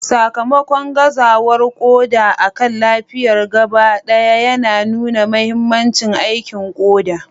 Sakamakon gazawar koda akan lafiyar gabaɗaya yana nuna mahimmancin aikin koda.